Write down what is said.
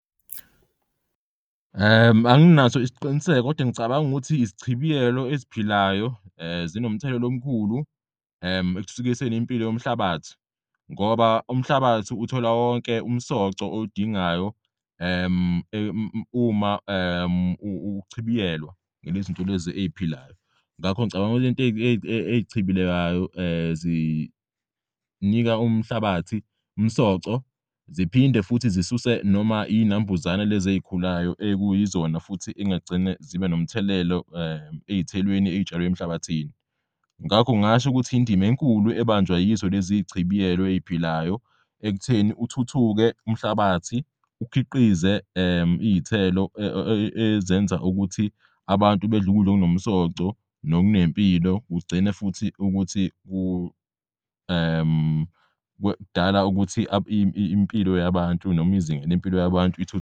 Anginaso isiqiniseko kodwa ngicabanga ukuthi isichibiyelo eziphilayo zinomthelela omkhulu ekuthuthukiseni impilo yomhlabathi. Ngoba umhlabathi uthola wonke umsoco owudingayo uma uchibiyelwa ngalezinto lezi ey'philayo. Ngakho ngicabanga ukuthi lento eyichibilelayo zinika umhlabathi umsoco ziphinde futhi zisuse noma iy'nambuzane lezi ezikhulayo ekuyizona futhi engagcina zibe nomthelelo ey'thelweni ey'tshalw'emhlabathini. Ngakho ngingasho ukuthi indim'enkulu ebanjwa yizo leziy'chibiyelo ey'philayo ekutheni uthuthuke umhlabathi ukhiqize iy'thelo ezenza ukuthi abantu bedl'ukudl'okunomsoco nokunempilo kugcine futhi ukuthi kudala ukuthi impilo yabantu noma izinga lempilo yabantu .